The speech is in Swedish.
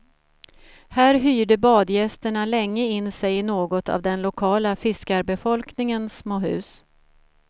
Här hyrde badgästerna länge in sig i något av den lokala fiskarbefolkningens små hus.